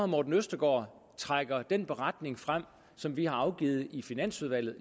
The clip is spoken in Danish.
morten østergaard trækker den beretning frem som vi har afgivet i finansudvalget